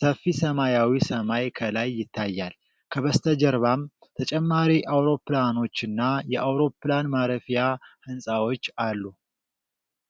ሰፊ ሰማያዊ ሰማይ ከላይ ይታያል፣ ከበስተጀርባም ተጨማሪ አውሮፕላኖችና የአውሮፕላን ማረፊያ ህንጻዎች አሉ።